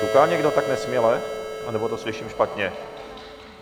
Ťuká někdo tak nesměle, anebo to slyším špatně?